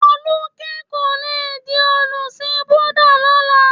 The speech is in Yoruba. Folúkẹ́ kò le di olùsìn Búdà lọ́la.